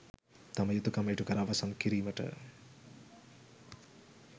තම යුතුකම් ඉටුකර අවසන් කිරීමට